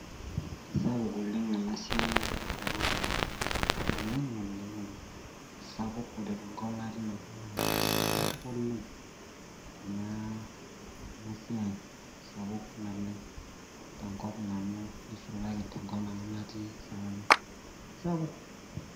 Kisapuk oleng enasiai tenkopang oleng ,ore tenkop natii nanu naa kisapuk oleng enasiai sapuk naleng kisapuk.